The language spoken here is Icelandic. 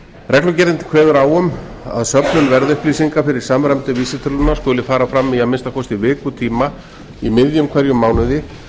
reglugerðin kveður á um að söfnun verðupplýsinga fyrir samræmdu vísitöluna skuli fara fram í að minnsta kosti vikutíma í miðjum hverjum mánuði